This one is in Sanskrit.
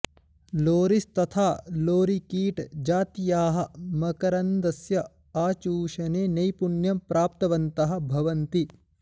लोरिस् तथा लोरिकीट् जातीयाः मकरन्दस्य आचूषणे नैपुण्यं प्राप्तवन्तः भवन्ति